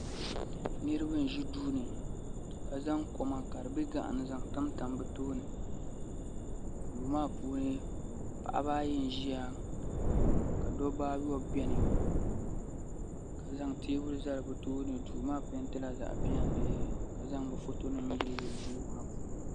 Niraba n ʒi duuni ka zaŋ koma ka di bɛ gaɣa ni n zaŋ tamtam bi tooni duu maa puuni paɣaba ayi n ʒiya ka dabba ayobu biɛni ka zaŋ teebuli zali bi tooni duu maa peentila zaɣ piɛlli ka zaŋ bi foto nim yiliyili duu maa puuni